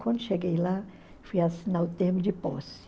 Quando cheguei lá, fui assinar o termo de posse.